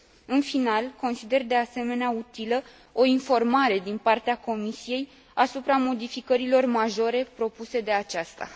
În final, consider, de asemenea, utilă o informare din partea Comisiei asupra modificărilor majore propuse de aceasta